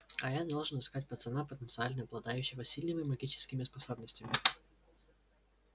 а я должен искать пацана потенциально обладающего сильными магическими способностями